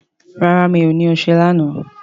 rà rá mi'o ní ọṣẹ lànà